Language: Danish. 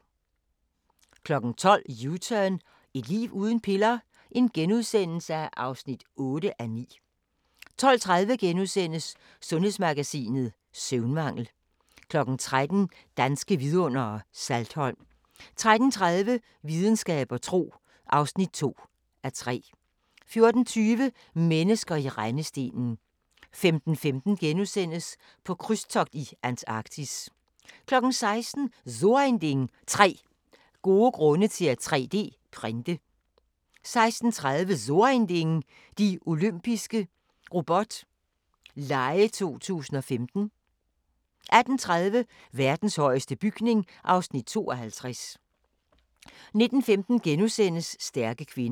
12:00: U-turn – Et liv uden piller? (8:9)* 12:30: Sundhedsmagasinet: Søvnmangel * 13:00: Danske Vidundere: Saltholm 13:30: Videnskab og tro (2:3) 14:20: Mennesker i rendestenen 15:15: På krydstogt i Antarktis * 16:00: So ein Ding: 3 gode grunde til at 3D-printe 16:30: So ein Ding: De Olympiske Robot Lege 2015 18:30: Verdens højeste bygning (Afs. 52) 19:15: Stærke kvinder *